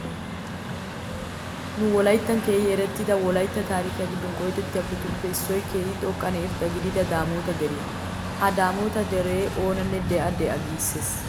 Nu Wolaytta biittan keehi erettida wolaytta taarikiya giddon qoodettiyabatuppe issoy keehi xoqqanne irxxa gidida daamoota deriya. Ha daamoota dere oonanne de'a de'a giissees.